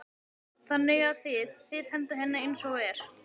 Þannig að þið, þið hendið henni eins og er?